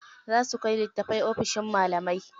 Za su kai littatafai ofishin malamai.